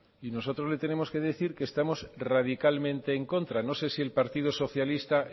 y nosotros le tenemos que decir que estamos radicalmente en contra no sé si el partido socialista